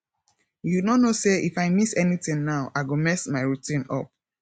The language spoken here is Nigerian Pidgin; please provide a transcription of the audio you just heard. you no know say if i miss anything now i go mess my routine up